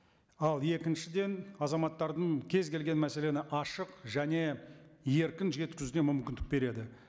ал екіншіден азаматтардың кез келген мәселені ашық және еркін жеткізуге мүмкіндік береді